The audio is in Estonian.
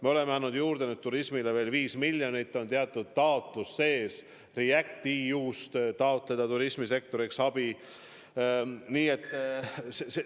Me oleme nüüd turismile andnud veel viis miljonit, on teatud taotlus sees, et REACT-EU-st turismisektorile abi osutada.